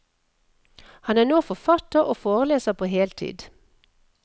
Han er nå forfatter og foreleser på heltid.